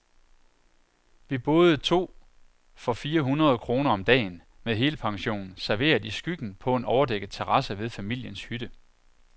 Vi boede to for fire hundrede kroner om dagen, med helpension, serveret i skyggen på en overdækket terrasse ved familiens hytte.